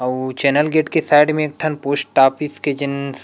अउ channel gate के side में एक ठन पोस्ट ऑफिस के जन्स